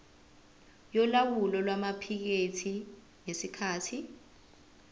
yolawulo lwamaphikethi ngesikhathi